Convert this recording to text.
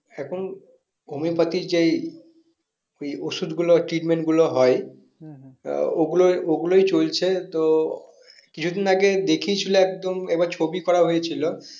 এখন homeopathy যেই ওই ওষুধ গুলো treatment গুলো হয় তা ওই গুলো ওগুলোই চলছে তো কিছুদিন আগে দেখিয়ে ছিল একদম এবার ছবি করা হয়েছিল